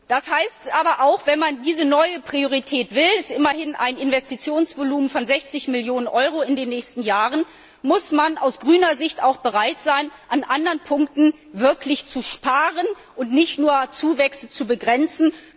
Das heißt aber auch Wenn man diese neue Priorität will es handelt sich immerhin um ein Investitionsvolumen von 60 Millionen Euro in den nächsten Jahren muss man aus der Sicht der Grünen auch bereit sein, an anderen Punkten zu sparen und nicht nur Zuwächse zu begrenzen.